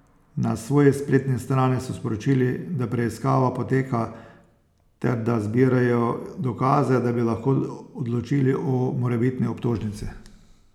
Na svoji spletni strani so sporočili, da preiskava poteka ter da zbirajo dokaze, da bi lahko odločili o morebitni obtožnici.